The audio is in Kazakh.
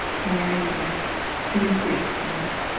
иә иә тірі сияқтымын